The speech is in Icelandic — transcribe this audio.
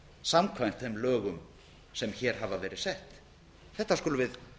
samkvæmt þeim lögum sem hér hafa verið sett þetta skulum við